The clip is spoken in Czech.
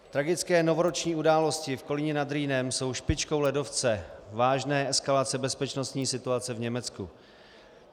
Tragické novoroční události v Kolíně nad Rýnem jsou špičkou ledovce - vážné eskalace bezpečností situace v Německu.